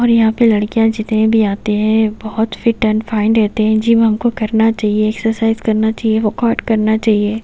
और यहां पर लड़कियां जितने भी आते हैं बहोत फिट एंड फाइन रहते हैं। जिम हमको करना चाहिए एक्सरसाइज करना चाहिए वर्कआउट करना चाहिए।